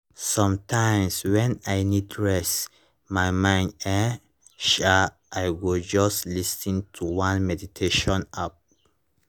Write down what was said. sometimes when i need reset my mind[um][um] i go just lis ten to one meditation app